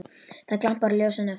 Það glampar á ljósin af þeim.